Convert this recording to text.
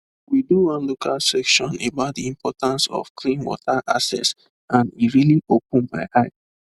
we do one local session about the importance of clean water access and e really open my eye